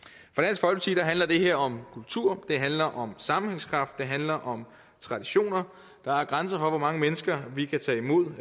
til handler det her om kultur det handler om sammenhængskraft det handler om traditioner der er grænser for hvor mange mennesker vi kan tage imod